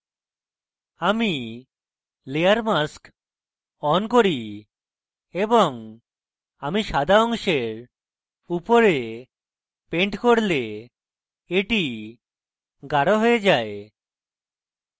আমি layer mask on করি এবং আমি সাদা অংশের উপর paint করলে এটি গাঢ় হয়ে যায়